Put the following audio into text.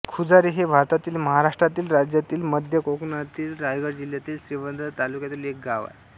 खुजारे हे भारतातील महाराष्ट्र राज्यातील मध्य कोकणातील रायगड जिल्ह्यातील श्रीवर्धन तालुक्यातील एक गाव आहे